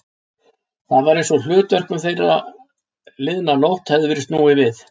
Það var einsog hlutverkum þeirra liðna nótt hefði verið snúið við.